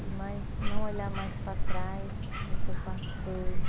e mais, não olhar mais para trás do que eu passei.